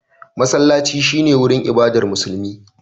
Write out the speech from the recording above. Masallaci shi ne wurin ibadar Musulmi.